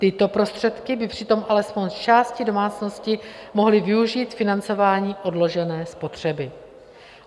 Tyto prostředky by přitom alespoň z části domácnosti mohly využít k financování odložené spotřeby.